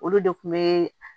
Olu de kun be